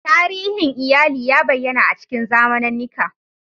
Tarihin iyali ya bayyana a cikin zamanannika.